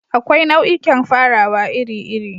Akwai nau'ikan farawa iri-iri.